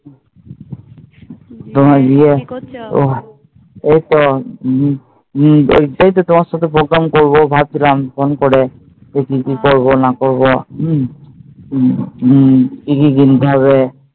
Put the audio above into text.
ঐ তো এইটাই তো তোমার সাথে program করবো ভাবছিলাম ফোন করে যে কি কি করবো না করবো হুম কি কি কিনতে হবে